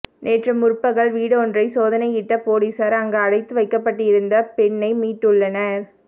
நேற்று முற்பகல் வீடொன்றை சோதனையிட்ட பொலிஸார் அங்கு அடைத்து வைக்கப்பட்டிருந்த பெண்ணை மீட்டுள்ளனர்